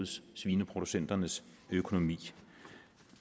svineproducenternes økonomi